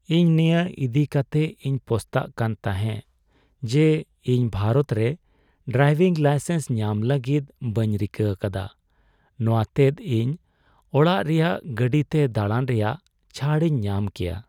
ᱤᱧ ᱱᱤᱭᱟᱹ ᱤᱫᱤ ᱟᱠᱛᱮᱜ ᱤᱧ ᱯᱚᱥᱛᱟᱜ ᱠᱟᱱ ᱛᱟᱦᱮᱸᱜ ᱡᱮ ᱤᱧ ᱵᱷᱟᱨᱚᱛ ᱨᱮ ᱰᱨᱟᱭᱵᱷᱤᱝ ᱞᱟᱭᱥᱮᱱᱥ ᱧᱟᱢ ᱞᱟᱹᱜᱤᱫ ᱵᱟᱹᱧ ᱨᱤᱠᱟᱹ ᱟᱠᱟᱫᱟ ᱾ ᱱᱚᱣᱟ ᱛᱮᱫᱚ ᱤᱧ ᱚᱲᱟᱜ ᱨᱮᱭᱟᱜ ᱜᱟᱹᱰᱤ ᱛᱮ ᱫᱟᱲᱟᱱ ᱨᱮᱭᱟᱜ ᱪᱷᱟᱹᱲ ᱤᱧ ᱧᱟᱢ ᱠᱮᱭᱟ ᱾